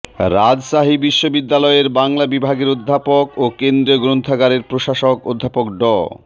রাজশাহী বিশ্ববিদ্যালয়ের বাংলা বিভাগের অধ্যাপক ও কেন্দ্রীয় গ্রন্থাগারের প্রশাসক অধ্যাপক ড